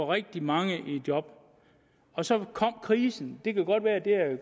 rigtig mange i job og så kom krisen det kan godt være at det er